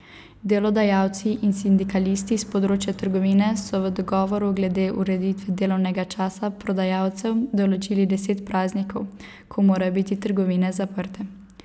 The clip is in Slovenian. Delodajalci in sindikalisti s področja trgovine so v dogovoru glede ureditve delovnega časa prodajalcev določili deset praznikov, ko morajo biti trgovine zaprte.